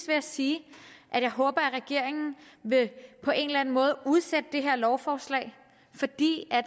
jeg sige at jeg håber at regeringen på en eller anden måde udsætte det her lovforslag fordi